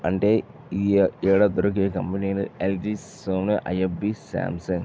అంటే ఈ ఏడ దొరికే కంపెనీలు ఎల్జి సోనీ ఐఎఫ్బి శాంసంగ్ .